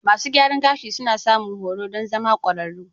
Masu gyaran gashi suna samun horo don zama ƙwararru.